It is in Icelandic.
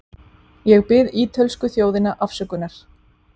Ég bið ítölsku þjóðina afsökunar.